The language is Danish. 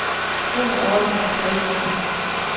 Ro og orden må præge landet.